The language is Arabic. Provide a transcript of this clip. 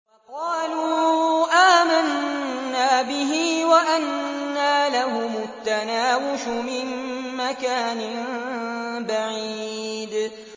وَقَالُوا آمَنَّا بِهِ وَأَنَّىٰ لَهُمُ التَّنَاوُشُ مِن مَّكَانٍ بَعِيدٍ